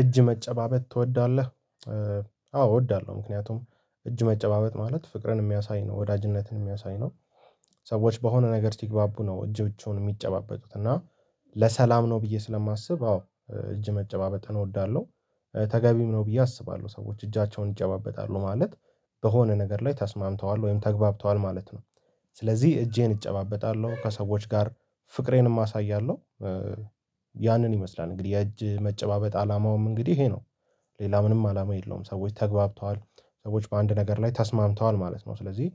እጅ መጨባበጥ ትወዳለህ አዎ እወዳለሁ ምክንያቱም እጅ መጨባበጥ ማለት ፍቅርን የሚያሳይ ነው ወዳጅነትን የሚያሳይ ነው። ሰዎች በሆነ ነገር ሲግባቡ ነው እጆቹን የሚጨባበጡት እና ለሰላም ነው ብዬ ስለማስብ አዎ እጅ መጨባበጥ እወዳለሁ። ተገቢም ነው ብዬ አስባለሁ ሰዎች እጃቸውን ይጨባበጣሉ ማለት በሆነ ነገር ላይ ተስማምተዋል ወይም ተግባብተዋል ማለት ነው። ስለዚህ እጄን እጨባበጣለሁ ከሰዎች ጋር ፍቅሬንም አሳያለሁ። ያንን ይመስላል እንግዲህ የእጅ መጨባበጥ አላማውም እንግዲህ ይሄ ነው። ሌላ ምንም አላማ የለውም። ሰዎች ተገባብተዋል ሰዎች በአንድ ነገር ላይ ተስማምተዋል ማለት ነው። ስለዚህ